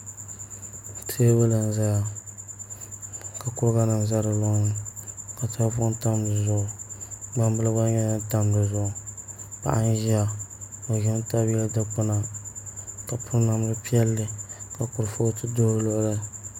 Teebuli n ʒɛya ka kuriga num ʒɛ di loŋni ka tahapoʋ tam dizuɣu gbambili gba nyɛla din tam dizuɣu paɣa n ʒiya o ʒimi tabi yili dikpuna ka piri namdi piɛlli ka kurifooti ʒɛ o luɣuli